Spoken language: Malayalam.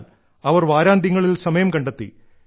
എന്നാൽ അവർ വാരാന്ത്യങ്ങളിൽ സമയം കണ്ടെത്തി